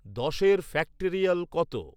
দশের ফ্যাক্টরিয়াল কত